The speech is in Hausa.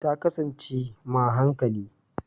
Ta kasance m a hankali